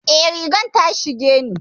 Eh, rigar ta shige ni.